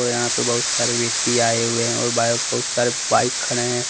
यहां पे बहुत सारे व्यक्ति आए हुए है और बहुत सारे बाइक खड़े है।